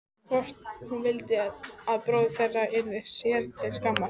Hvort hún vildi að bróðir þeirra yrði sér til skammar?